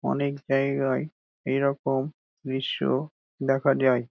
অনেক জায়গায় এরকম দৃশ্য দেখা যায় ।